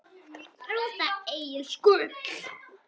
Rúta Egils Gull